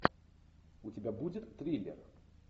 у тебя будет триллер